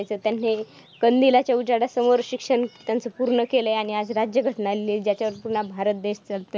कंदिलाच्या उजेडासमोर शिक्षण त्यांचं पूर्ण केलंय आणि आज राज्यघटना लिहिली ज्याच्यावरती पूर्ण भारत देश चालतो.